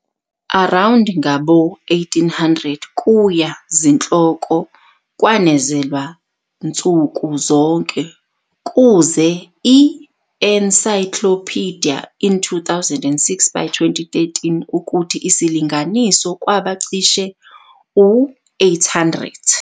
Around nawo-1800 kuya zihloko kwanezelwa nsuku zonke kuze encyclopedia in 2006, by 2013 ukuthi isilinganiso kwaba cishe 800.